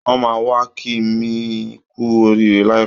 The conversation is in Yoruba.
Wọ́n máà wá kí mi kú oríire láìpẹ́